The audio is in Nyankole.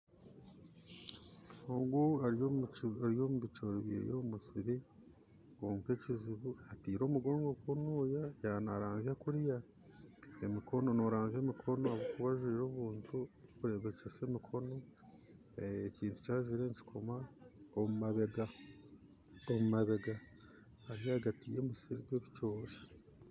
Ogu ari omu bicoori bye omu musiri kwonka ekizibu ataire omugongo kunuuya naranzya kuriya, omukono noranzya omukono ahakuba ajwaire ebintu ebirikureebekyesa emikono ekintu ki ajwaire nikikoma omu mabega ari ahagati yomusiri gw'ebicoori